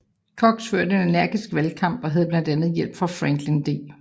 Cox førte en energisk valgkamp og havde blandt andet hjælp af Franklin D